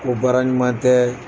Ko baara ɲuman tɛ